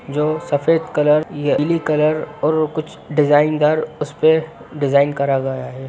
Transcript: जो सफेद कलर पीली कलर और कुछ डिजाइन दर उसपे डिजाईन कराया हुआ है।